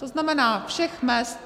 To znamená všech mezd.